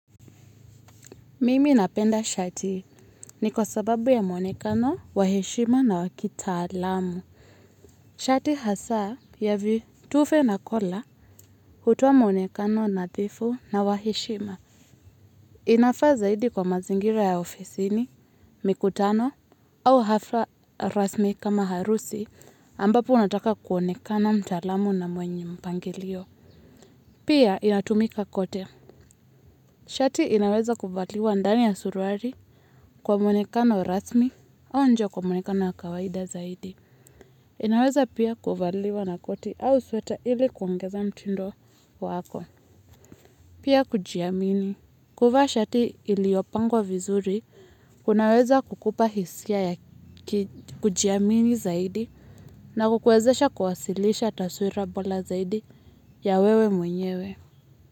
Mimi napenda shati ni kwa sababu ya mwonekano, waheshima na wakitalamu. Shati hasa ya vitufe na kola hutoa muonekano nadhifu na wa heshima. Inafaa zaidi kwa mazingira ya ofisini, mikutano au hafla rasmi kama harusi ambapo unataka kuonekana mtalamu na mwenye mpangilio. Pia inatumika kote. Shati inaweza kuvaliwa ndani ya suruali, kwa mwonekano rasmi, au nje kwa mwonekano wa kawaida zaidi. Inaweza pia kuvaliwa na koti au sweta ili kuongeza mtindo wako. Pia kujiamini. Kuvaa shati iliyopangwa vizuri, kunaweza kukupa hisia ya kujiamini zaidi, na kukwezesha kwasilisha taswira bora zaidi ya wewe mwenyewe.